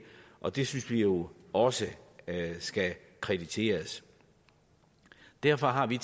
og det synes vi jo også skal krediteres derfor har vi